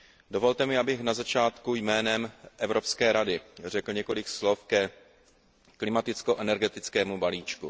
Dovolte mi, abych na začátku jménem Evropské rady řekl několik slov ke klimaticko energetickému balíčku.